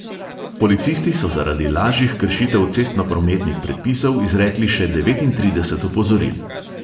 Policisti so zaradi lažjih kršitev cestnoprometnih predpisov izrekli še devetintrideset opozoril.